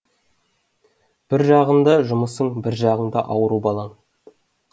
бір жағында жұмысың бір жағында ауру балаң